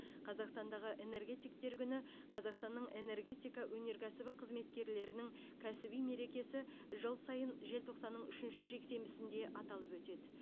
қазақстандағы энергетиктер күні қазақстанның энергетика өнеркәсібі қызметкерлерінің кәсіби мерекесі жыл сайын желтоқсанның үшінші жексенбісінде аталып өтеді